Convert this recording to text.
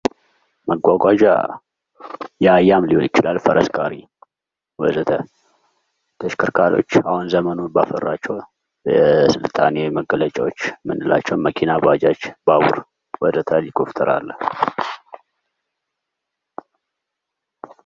መጓጓዣያ የአህያም ሊሆን ይችላል ፈረስ ጋሪ ወዘተ.. ተሽከርካሪዎች አሁን ዘመኑ በአፈራቸው የስልጣኔ መገለጫዎች የምንላቸው መኪኖች፣ ባጃጅ፣ ባቡር ኢሊኮፍትር አለ።